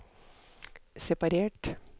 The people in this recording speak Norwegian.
separert